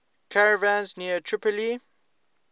caravans near tripoli